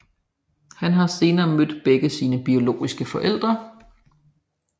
Han har senere mødt begge sine biologiske forældre